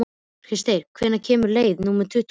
Kristgeir, hvenær kemur leið númer tuttugu og sex?